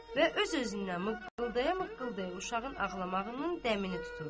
Və öz-özündən mıqıldaya mıqıldaya uşağın ağlamağının dəmini tuturdu.